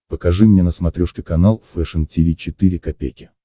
покажи мне на смотрешке канал фэшн ти ви четыре ка